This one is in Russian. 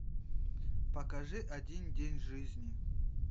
покажи один день жизни